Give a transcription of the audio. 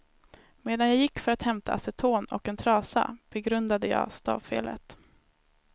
Medan jag gick för att hämta aceton och en trasa, begrundade jag stavfelet.